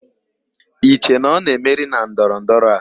I che na ọ na-emeri na ndọrọ ndọrọ a?